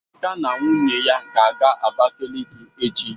Emeka na nwunye ya ga-aga Abakaliki echi.